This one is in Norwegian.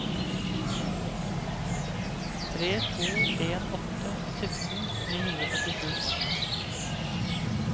tre to en åtte sytten ni hundre og førtisju